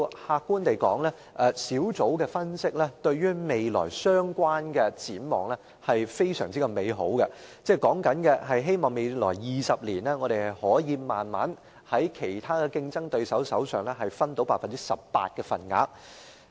客觀地說，小組的分析顯示出對未來這方面的展望甚是美好：期望在未來20年，我們可以逐漸從其他競爭對手手上取得 18% 的份額。